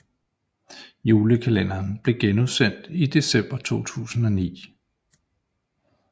Julekalenderen blev genudsendt i december 2009